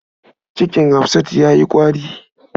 Cikin Hafsatu ya yi ƙwari.